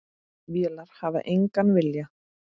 Vélar hafa engan vilja.